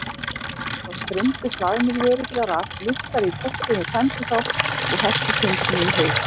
Þá streymdu hlaðnir vörubílar að, lyftari í portinu tæmdi þá og hellti timbrinu í haug.